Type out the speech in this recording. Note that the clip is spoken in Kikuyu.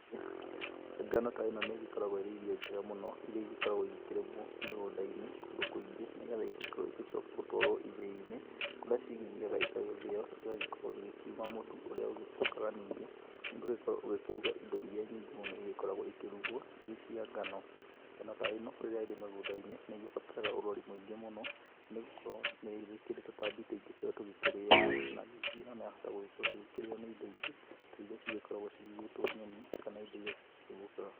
Ngano ta ĩno nĩ ĩgĩkoragwo ĩrĩ irio njega mũno iria igĩkoragwo igĩkĩrĩmwo mũgũnda-inĩ kũndũ kũingĩ nĩgetha igĩkorwo igĩcoka gũtwarwo ithĩ-inĩ kũrĩa cigĩthiaga igagĩthĩo, igagĩkorwo igĩkiuma mũtu ũrĩa ũcokaga nyingĩ ũgagĩkorwo ũgĩkĩruga indo iria nyingĩ mũno igĩkoragwo igĩkĩrugwo irĩ cia ngano. Ngano ta ĩno rĩrĩa ĩrĩ mĩgũnda-inĩ nĩ ĩgĩbataraga ũrori mũingĩ mũno nĩ gũkorwo nĩ ĩkĩrĩ tũtambi tũingĩ mũno tũrĩa tũgĩkĩrĩaga, na ningĩ yahota gũkorwo ĩgĩkĩrĩo nĩ indo nyingĩ ta iria cigĩkoragwo cigĩgĩtwo nyoni kana indo iria cikĩũmbũkaga.